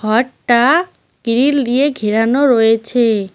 ঘরটা গ্ৰিল দিয়ে ঘেরানো রয়েছে ।